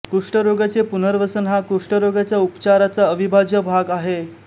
कुष्ठरोग्याचे पुनर्वसन हा कुष्टरोगाच्या उपचारचा अविभाज्य भाग आहे